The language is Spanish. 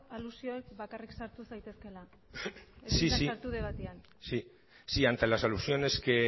aluzioetan bakarrik sartu zaitezkela ante las alusiones que